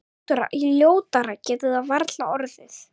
Ljótara getur það varla orðið.